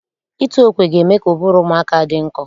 Ịtụ okwe ga-eme ka ụbụrụ ụmụaka dị nkọ.